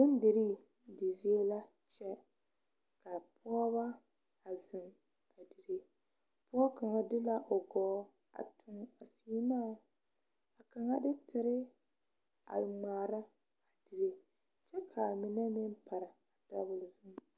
Bondirii di zie kyɛ ka pɔgeba a zeŋ a dire pɔge kaŋa de la o gɔɔ a tuŋ a seemaa ka kaŋa de tere a ŋmaara a dire kyɛ ka a mine pare a tabol zu.